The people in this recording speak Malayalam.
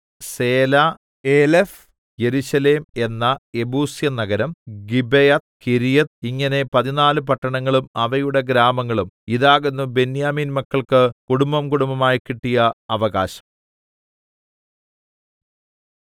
സേല ഏലെഫ് യെരൂശലേം എന്ന യെബൂസ്യനഗരം ഗിബെയത്ത് കിര്യത്ത് ഇങ്ങനെ പതിന്നാല് പട്ടണങ്ങളും അവയുടെ ഗ്രാമങ്ങളും ഇതാകുന്നു ബെന്യാമീൻ മക്കൾക്ക് കുടുംബംകുടുംബമായി കിട്ടിയ അവകാശം